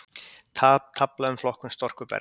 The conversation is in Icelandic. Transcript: Tafla um flokkun storkubergs